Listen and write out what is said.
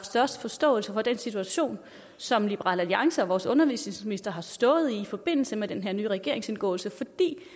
størst forståelse for den situation som liberal alliance og vores undervisningsminister har stået i i forbindelse med den her nye regeringsindgåelse for